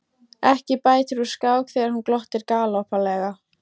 Ekki bætir úr skák þegar hún glottir galgopalega.